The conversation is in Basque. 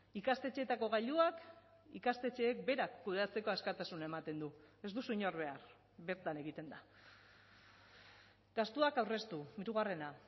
ikastetxeetako gailuak ikastetxeek berak kudeatzeko askatasuna ematen du ez duzu inor behar bertan egiten da gastuak aurreztu hirugarrena